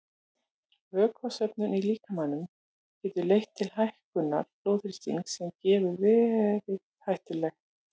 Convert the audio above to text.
Vökvasöfnun í líkamanum getur leitt til hækkunar blóðþrýstings sem getur verið hættulegt.